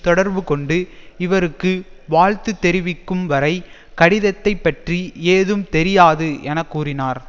தொடர்புகொண்டு இவருக்கு வாழ்த்துத் தெரிவிக்கும் வரை கடிதத்தைப்பற்றி ஏதும் தெரியாது என கூறினார்